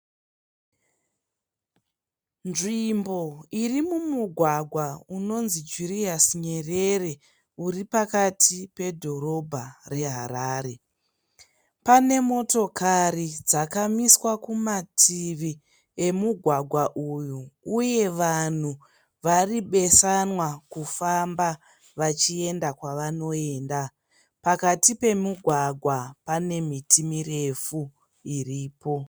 Nzvimbo iri mumugwagwa unonzii Julius Nyerere uri pakati pedhorobha reHarare. Pane motokari dzakamiswa kumativi emugwagwa uyu, uye vanhu vari besanwa kufamba vachiyenda kwavanoenda. Pakati pemugwagwa pane miti mirefu iripo.